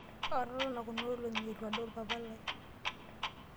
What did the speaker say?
Atotona kuna olong'i etu adol papa lai.